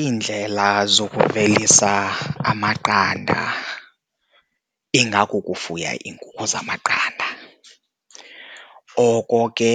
Iindlela zokuvelisa amaqanda ingakukufuya iinkukhu zamaqanda. Oko ke